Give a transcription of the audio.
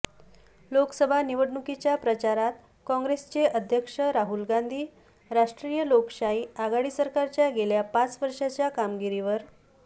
लोकसभा निवडणुकीच्या प्रचारात काँग्रेसचे अध्यक्ष राहुल गांधी राष्ट्रीय लोकशाही आघाडी सरकारच्या गेल्या पाच वर्षांच्या कामगिरीवर